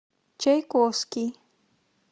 чайковский